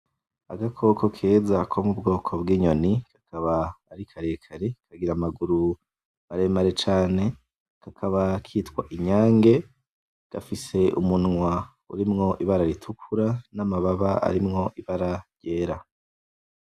Agakoko keza ko mu bwoko bw'inyoni, kakaba ari karekare kagira amaguru maremare cane, kakaba kitwa inyange gafise umunwa urimwo ibara ritukura n'amababa arimwo ibara ryera.